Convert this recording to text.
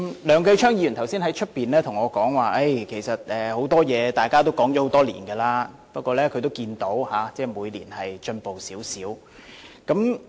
梁繼昌議員剛才在外面對我說，其實就很多事情，大家都討論了很多年，他也看到每年都有少許進展。